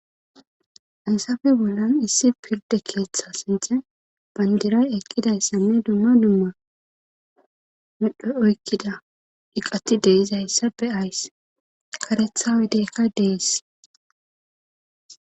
Haysape bollan issi pirde keeththa sinthen bandiray eqqidayssanne dumma dumma medho oykkida iqati de'zayssappe kareththa oydeykka de'is.